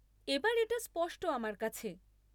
এবার এটা স্পষ্ট আমার কাছে।